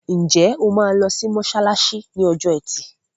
Ǹjẹ́ o máa lọ sí mọ́ṣáláṣí ní ọjọ́ ẹtì?